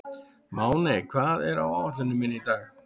Máney, hvað er á áætluninni minni í dag?